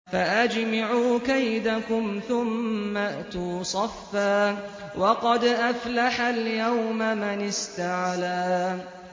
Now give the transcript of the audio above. فَأَجْمِعُوا كَيْدَكُمْ ثُمَّ ائْتُوا صَفًّا ۚ وَقَدْ أَفْلَحَ الْيَوْمَ مَنِ اسْتَعْلَىٰ